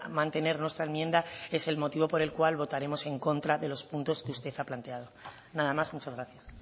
mantener nuestra enmienda es el motivo por el cual votaremos en contra de los puntos que usted ha planteado nada más muchas gracias